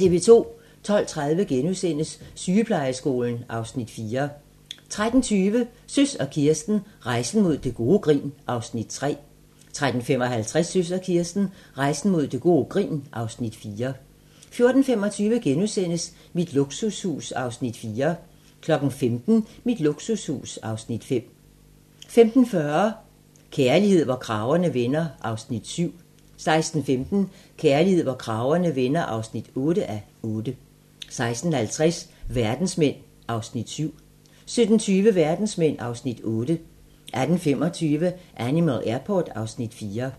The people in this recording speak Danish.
12:30: Sygeplejeskolen (Afs. 4)* 13:20: Søs og Kirsten - Rejsen mod gode grin (Afs. 3) 13:55: Søs og Kirsten - Rejsen mod gode grin (Afs. 4) 14:25: Mit luksushus (Afs. 4)* 15:00: Mit luksushus (Afs. 5) 15:40: Kærlighed, hvor kragerne vender (7:8) 16:15: Kærlighed, hvor kragerne vender (8:8) 16:50: Verdensmænd (Afs. 7) 17:20: Verdensmænd (Afs. 8) 18:25: Animal Airport (Afs. 4)